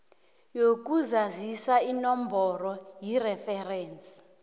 yokuzazisa inomboro yereferensi